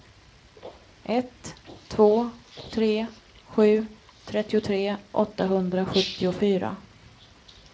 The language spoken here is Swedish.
ett två tre sju trettiotre åttahundrasjuttiofyra